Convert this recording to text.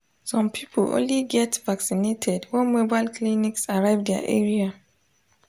some people only get vaccinated when mobile clinics arrive their area.